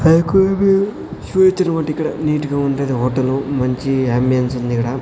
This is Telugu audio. నీటి గా ఉంటది హోటలు మంచి అమ్బియెన్స్ ఉందిగడ--